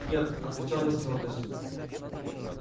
нет отвечал я с твёрдостию